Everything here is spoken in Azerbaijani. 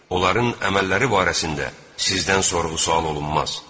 Onların əməlləri barəsində sizdən sorğu-sual olunmaz.